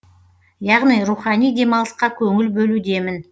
яғни рухани демалысқа көңіл бөлудемін